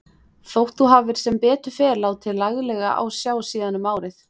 Þótt þú hafir sem betur fer látið laglega á sjá síðan um árið.